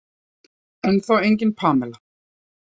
Ennþá engin Pamela.